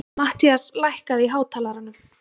Mattías, lækkaðu í hátalaranum.